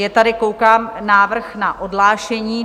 Je tady, koukám, návrh na odhlášení.